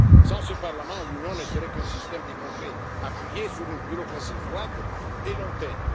Sans ce Parlement, l'Union ne serait qu'un système de congrès, appuyé sur une bureaucratie froide et